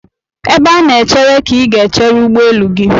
Ebe a na-echere ka ị ga-echere ụgbọelu gị.